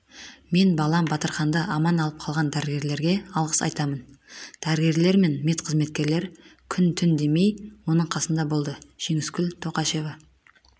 мен балам батырханды аман алып қалған дәрігерлерге алғыс айтамын дәрігерлер мен медқызметкерлер күн-түн демей оның қасында болды жеңіскүл тоқашева